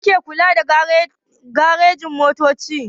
Wa yake kula da garejin-motoci?